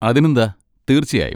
അതിനെന്താ, തീർച്ചയായും.